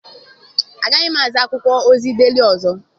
Agaghị m azụ akwụkwọ ozi Deeli ọzọ.